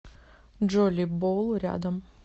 джолибол рядом